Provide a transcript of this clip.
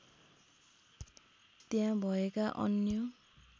त्यहाँ भएका अन्य